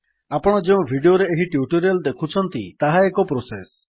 ଆପଣ ଯେଉଁ ଭିଡିଓରେ ଏହି ଟ୍ୟୁଟୋରିଆଲ୍ ଦେଖୁଛନ୍ତି ତାହା ଏକ ପ୍ରୋସେସ୍